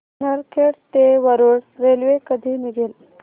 नरखेड ते वरुड रेल्वे कधी निघेल